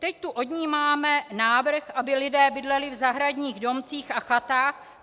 Teď tu od ní máme návrh, aby lidé bydleli v zahradních domcích a chatách.